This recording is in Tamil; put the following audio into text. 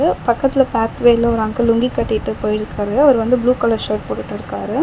இது பக்கத்துல பாத்வேல ஒரு அங்கிள் லுங்கி கட்டிட்டு போயிருக்காரு. அவர் வந்து ப்ளூ கலர் ஷர்ட் போட்டுட்டு இருக்காரு.